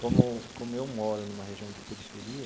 Como como eu moro numa região de periferia,